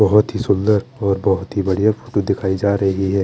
बोहोत ही सुन्दर और बोहोत ही बड़िया फोटो दिखाई जा रही है।